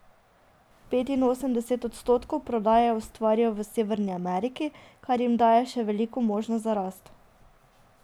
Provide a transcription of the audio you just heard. Petinosemdeset odstotkov prodaje ustvarijo v Severni Ameriki, kar jim daje še veliko možnosti za rast.